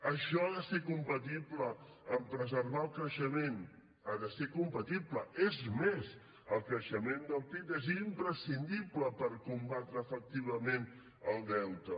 això ha de ser compatible amb preservar el creixement ha de ser compatible és més el creixement del pib és imprescindible per combatre efectivament el deute